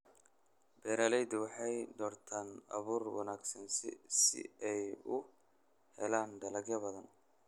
Beeraleydu waxay doortaan abuur wanaagsan si ay u helaan dalag badan.